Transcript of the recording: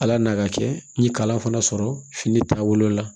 Ala n'a ka kɛ n ye kalan fana sɔrɔ fini taabolo la